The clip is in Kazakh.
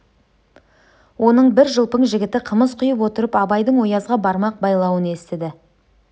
оның бір жылпың жігіті қымыз құйып отырып абайдың оязға бармақ байлауын естіді